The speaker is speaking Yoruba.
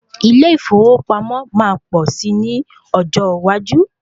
Ilé ìfowópamọ́ máa pọ̀ si ní ọjọ́ iwájú